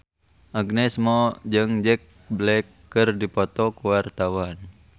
Agnes Mo jeung Jack Black keur dipoto ku wartawan